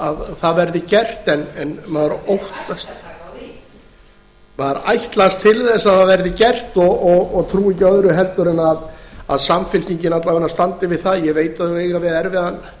að það verði gert maður ætlast til þess að það verði gert og ég trúi ekki öðru en að samfylkingin alla vega standi við það ég veit að þau eiga við erfiðan